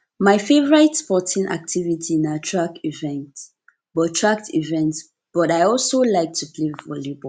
my favorite sporting activity na track events but track events but i also like to play volleyball